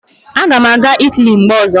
Aga m aga Italy mgbe ọzọ